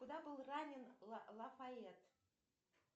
куда был ранен лафайет